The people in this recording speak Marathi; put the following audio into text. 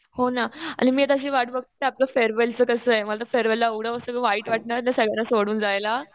हो ना आणि मी आता अशी वाट बघतीये कि आपल्या फेअरवेलचं कसं आहे. मला फेअरवेलला एवढं असं वाईट वाटणार. ते सगळ्यांना सोडून जायला.